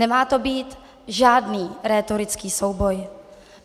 Nemá to být žádný rétorický souboj.